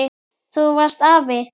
Þú varst afi.